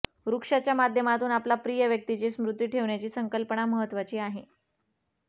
वृक्षाच्या माध्यमातून आपल्या प्रिय व्यक्तीची स्मृती ठेवण्याची संकल्पना महत्त्वाची आहे